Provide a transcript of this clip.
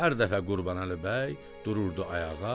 Hər dəfə Qurbanəli bəy dururdu ayağa.